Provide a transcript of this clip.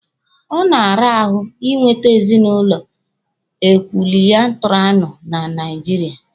Ọ na-ara ahụ Ị nwete ezinụlọ ekwụlịtarịanụ na Naijiria.